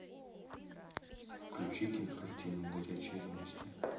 включи кинокартину горячие новости